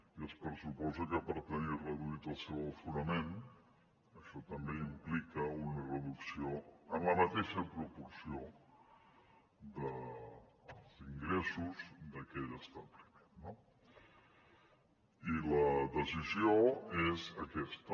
i es pressuposa que per tenir reduït el seu aforament això també implica una reducció en la mateixa proporció dels ingressos d’aquell establiment no i la decisió és aquesta